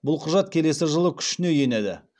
бұл құжат келесі жылы күшіне енеді